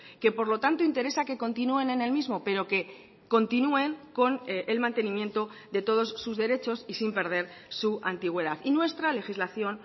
que por lo tanto interesa que continúen en el mismo pero que continúen con el mantenimiento de todos sus derechos y sin perder su antigüedad y nuestra legislación